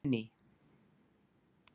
Hún er ný.